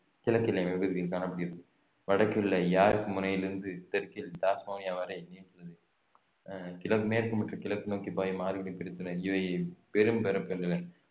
கிழக்கு எல்லை பகுதியில் காணப்படுகிறது வடக்கில் உள்ள யார்க் முனையிலிருந்து தெற்கில் டாஸ்மோனியா வரை நீண்டுள்ளது அஹ் கிழக்~ மேற்கு மற்றும் கிழக்கு நோக்கி பாயும் ஆறுகளை பிரித்தனர் இவை பெரும்